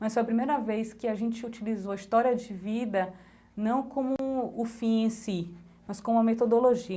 Mas foi a primeira vez que a gente utilizou a história de vida, não como o fim em si, mas como a